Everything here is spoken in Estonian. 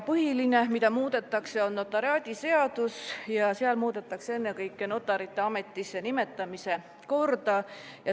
Põhiline, mida muudetakse, on notariaadiseadus, milles muudetakse ennekõike notarite ametisse nimetamise korda.